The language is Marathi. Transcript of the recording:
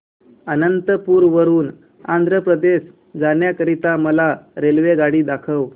अनंतपुर वरून आंध्र प्रदेश जाण्या करीता मला रेल्वेगाडी दाखवा